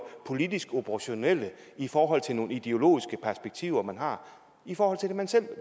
politisk operationelle i forhold til nogle ideologiske perspektiver man har i forhold til det man selv